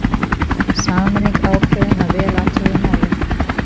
Sameining ákveðin að vel athuguðu máli